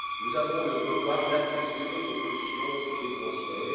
Nous avons le devoir d'apaiser nos pulsions dépensières.